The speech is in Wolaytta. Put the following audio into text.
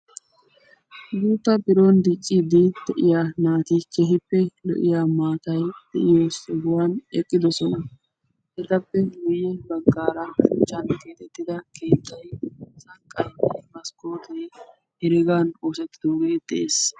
Guutta biron dicciidi de'iyaa naati keehippe lo"iyaa maatay de'iyoo sohuwaan eqqidosona. etappe guye baggaara koccan keexettida keettay sanqqay maskkotee heregan oosettidogee de'ees.